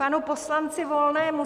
Panu poslanci Volnému.